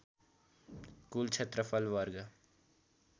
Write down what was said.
कूल क्षेत्रफल वर्ग